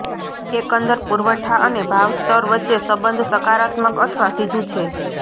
એકંદર પુરવઠા અને ભાવ સ્તર વચ્ચે સંબંધ સકારાત્મક અથવા સીધું છે